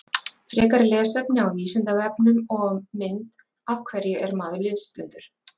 Frekara lesefni á Vísindavefnum og mynd Af hverju er maður lesblindur?